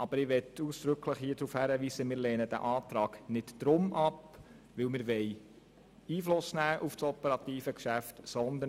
Aber ich möchte hier ausdrücklich darauf hinweisen, dass wir diese nicht deshalb ablehnen, weil wir Einfluss auf das operative Geschäft nehmen wollen.